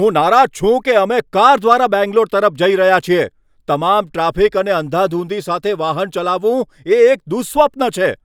હું નારાજ છું કે અમે કાર દ્વારા બેંગ્લોર તરફ જઈ રહ્યા છીએ. તમામ ટ્રાફિક અને અંધાધૂંધી સાથે વાહન ચલાવવું એ એક દુઃસ્વપ્ન છે!